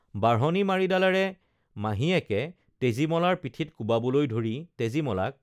বাঢ়নি মাৰিডালেৰে মাহীয়েকে তেজীমলাৰ পিঠিত কোবাবলৈ ধৰি তেজীমলাক